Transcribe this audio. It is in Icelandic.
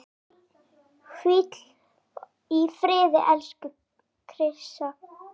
Hvíl í friði, elsku Krissa.